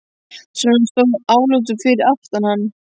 Sonur hans stóð álútur fyrir aftan hann.